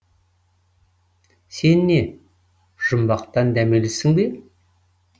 сен не жұмақтан дәмелісің бе